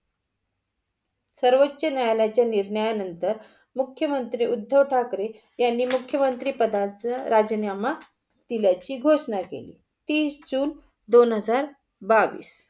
सर्वोचा न्यायालयाच्या निर्णया नंतर मुख्यमंत्री उद्धव ठाकरे यान मुख्य मंत्री पदाचा राजीनामा दिल्याची घोषणा केली. तीस जून दोन हजार बावीस.